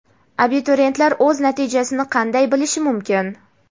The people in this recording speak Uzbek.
Abituriyentlar o‘z natijasini qanday bilishi mumkin?.